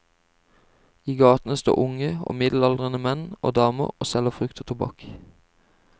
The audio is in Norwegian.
I gatene står unge og middelaldrende menn og damer og selger frukt og tobakk.